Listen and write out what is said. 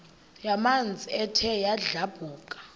yamanzi ethe yadlabhuka